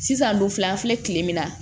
Sisan don filɛ an filɛ kile min na